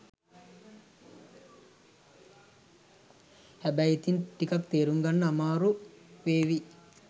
හැබැයි ඉතිං ටිකක් තේරුම් ගන්න අමාරු වේවි.